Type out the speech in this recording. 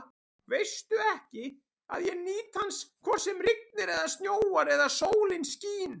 Veistu ekki, að ég nýt hans hvort sem rignir eða snjóar eða sólin skín?